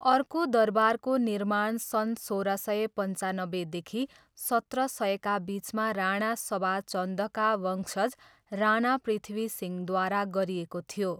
अर्को दरबारको निर्माण सन् सोह्र सय पन्चानब्बेदेखि सत्र सयका बिचमा राणा सभा चन्दका वंशज राणा पृथ्वी सिंहद्वारा गरिएको थियो।